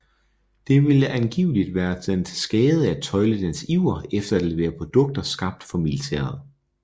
Det ville angiveligt være den til skade at tøjle dens iver efter at levere produkter skabt for militæret